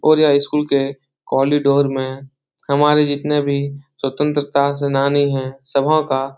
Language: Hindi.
और यह स्कूल के कॉरिडोर में हमारे जितने भी स्वतंत्रता सेनानी हैं सभों का --